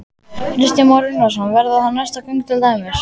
Kristján Már Unnarsson: Verða það næstu göng til dæmis?